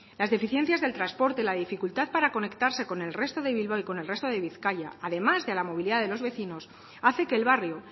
las deficiencias del transporte la dificultad para conectarse con el resto de bilbao y con el resto de bizkaia además de la movilidad de los vecinos hace que el barrio